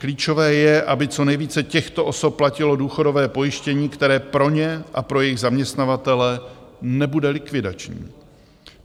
Klíčové je, aby co nejvíce těchto osob platilo důchodové pojištění, které pro ně a pro jejich zaměstnavatele nebude likvidační.